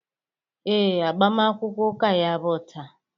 Ee, agbamakwụkwọ ụka ya bụ taa.